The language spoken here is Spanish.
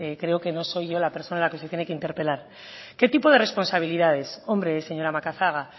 creo que no soy yo la persona que se tiene que interpelar qué tipo de responsabilidad es hombre señora macazaga